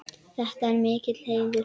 Þetta er mikill heiður.